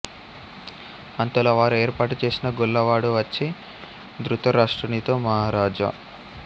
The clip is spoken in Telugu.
అంతలో వారు ఏర్పాటు చేసిన గొల్లవాడు వచ్చి దృతరాష్ట్రునితో మహారాజా